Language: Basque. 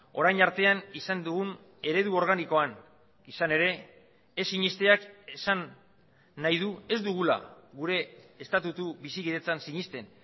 orain artean izan dugun eredu organikoan izan ere ez sinesteak esan nahi du ez dugula gure estatutu bizikidetzan sinesten